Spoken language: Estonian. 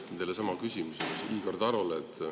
Ma esitan teile sama küsimuse mis Igor Tarole.